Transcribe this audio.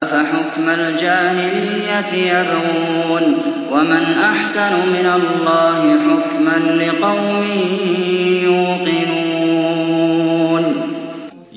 أَفَحُكْمَ الْجَاهِلِيَّةِ يَبْغُونَ ۚ وَمَنْ أَحْسَنُ مِنَ اللَّهِ حُكْمًا لِّقَوْمٍ يُوقِنُونَ